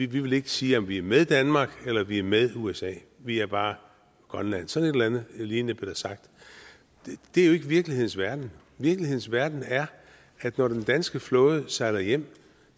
vi vil ikke sige om vi er med danmark eller vi er med usa vi er bare grønland sådan et eller andet lignende blev der sagt det er jo ikke virkelighedens verden virkelighedens verden er at når den danske flåde sejler hjem